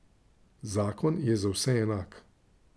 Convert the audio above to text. Zakon je za vse enak.